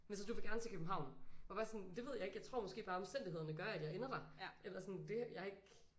Men så du vil gerne til København? Og var sådan det ved jeg ikke jeg tror måske bare omstændighederne gør at jeg ender der. Eller sådan det jeg har ikke